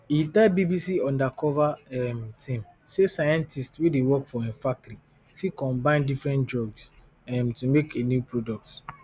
e tell bbc undercover um team say scientists wey dey work for im factory fit combine different drugs um to make a new product